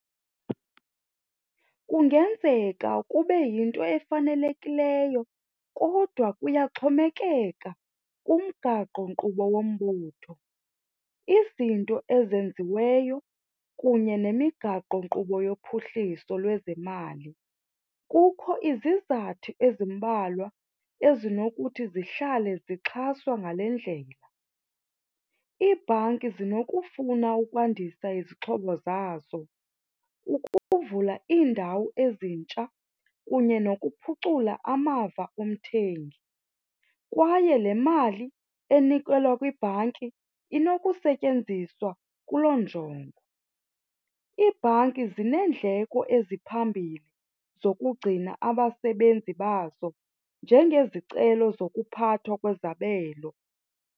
Kungenzeka kube yinto efanelekileyo kodwa kuyaxhomekeka kumgaqonkqubo wombutho. Izinto ezenziweyo kunye nemigaqonkqubo yophuhliso lwezemali. Kukho izizathu ezimbalwa ezinokuthi zihlale zixhaswa ngale ndlela. Iibhanki zinokufuna ukwandisa izixhobo zazo ukuvula iindawo ezintsha kunye nokuphucula amava omthengi, kwaye le mali enikelwa kwibhanki inokusetyenziswa kuloo njongo. Iibhanki zineendleko eziphambili zokugcina abasebenzi bazo njengezicelo zokuphathwa kwezabelo.